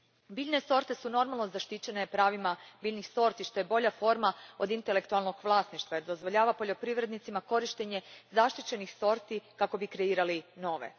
Biljne sorte su normalno zaštićene pravima biljnih sorti, što je bolja forma od intelektualnog vlasništva jer dozvoljava poljoprivrednicima korištenje zaštićenih sorti kako bi kreirali nove.